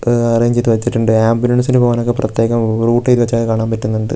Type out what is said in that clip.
എഹ് arrange ചെയ്തു വെച്ചിട്ടുണ്ട് ആംബുലൻസിനു പോകാനൊക്കെ പ്രത്യേകം വ് റൂട്ട് എയ്തി വെച്ചതൊക്കെ കാണാൻ പറ്റുന്നൊണ്ട് .